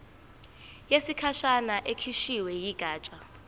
yesikhashana ekhishwe yigatsha